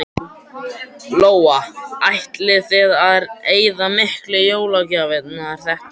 Lóa: Ætlið þið að eyða miklu í jólagjafir þetta árið?